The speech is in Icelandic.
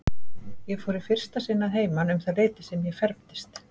Ég fór í fyrsta sinni að heiman um það leyti sem ég fermdist.